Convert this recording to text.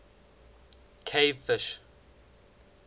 cave fish